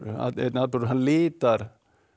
að einn atburður hann litar